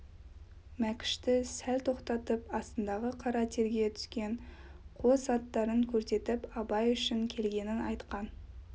мәкішті сәл тоқтатып астындағы қара терге түскен қос аттарын көрсетіп абай үшін келгенін айтқан